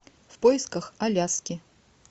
в поисках аляски